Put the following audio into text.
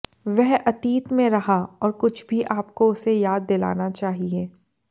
वह अतीत में रहा और कुछ भी आपको उसे याद दिलाना चाहिए